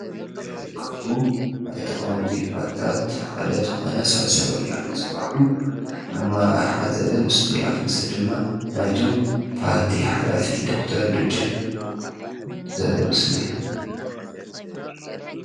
ካብኡ ናይ ተቃወምቲ ፓርትታት ሓደ ዝኾነ ሣልሳይ ወያነ ዝበሃሉ ኣመራርሓ ዝሓዘ ምስሪዓት ምስሊ ድማ ናይ እቲ ፓርቲ ሓላፊ ዶክተር ደጀን ዘርኢ ምስሊ እዮ።